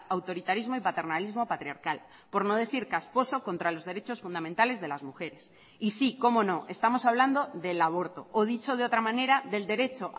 autoritarismo y paternalismo patriarcal por no decir casposo contra los derechos fundamentales de las mujeres y sí cómo no estamos hablando del aborto o dicho de otra manera del derecho